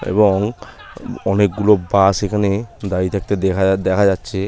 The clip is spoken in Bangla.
এবং অনেকগুলো বাস এইখানে দাঁড়িয়ে থাকতে দেখা যাচ্ছে।